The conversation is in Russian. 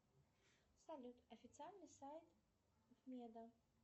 салют официальный сайт меда